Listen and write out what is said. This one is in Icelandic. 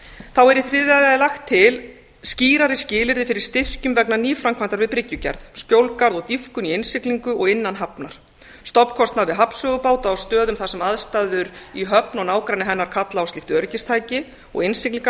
þá er í þriðja lagi lagt til skýrari skilyrði fyrir styrkjum vegna nýframkvæmdar við bryggjugerð skjólgarð og dýpkun í innsiglingu og innan hafnar stofnkostnaður við hafnsögubáta á stöðum þar sem aðstæður í höfn og nágrenni hennar kalla á slíkt öryggistæki og